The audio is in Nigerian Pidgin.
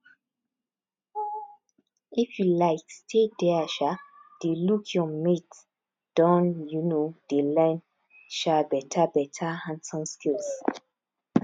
if you like stay there um dey look your mates don um dey learn um better better handson skills